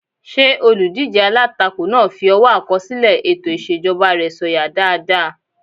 Ṣé olùdíjé alátakò náà fi ọwọ́ àkọsílẹ̀ ètò ìṣèjọba rẹ̀ sọ̀yà dáadáa?